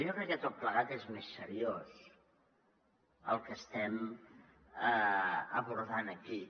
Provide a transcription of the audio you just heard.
jo crec que tot plegat és més seriós el que estem abordant aquí